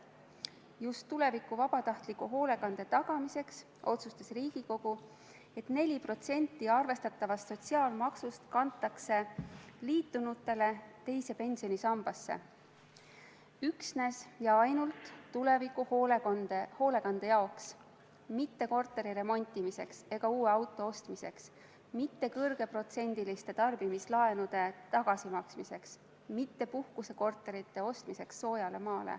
Just tuleviku vabatahtliku hoolekande tagamiseks otsustas Riigikogu, et 4% arvestatavast sotsiaalmaksust kantakse liitunutele teise pensionisambasse – üsnes ja ainult tuleviku hoolekande tagamiseks, mitte korteri remontimiseks ega uue auto ostmiseks, mitte kõrgeprotsendiliste tarbimislaenude tagasimaksmiseks, mitte puhkusekorterite ostmiseks soojal maal.